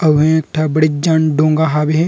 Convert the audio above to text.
अऊ हे एक ठ मस्त बड़े ज जान डोंगा हवे।